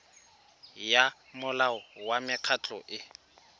ya molao wa mekgatlho e